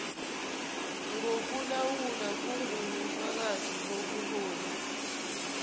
ngokulawula kungubufakazi bobuholi